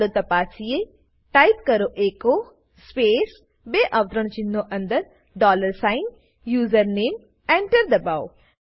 ચાલો તપાસીએ ટાઈપ કરો એચો સ્પેસ બે અવતરણચિહ્નો અંદર ડોલર સાઇન યુઝરનેમ એન્ટર દબાઓ